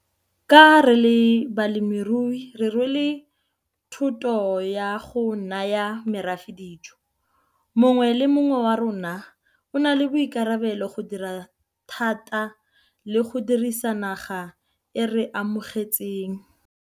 Ka re le balemirui re rwele thoto ya go naya morafe dijo. Monwge le mongwe wa rona o na le boikarabelo go dira thata le go dirisa naga e re amogetseng.